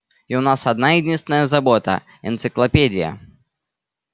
и у нас одна единственная забота энциклопедия